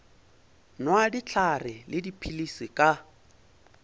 nwa dihlare le dipilisi ka